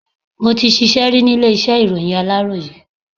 Mo ti ṣíṣe ri ni ilé iṣẹ́ ìròyìn aláròyé.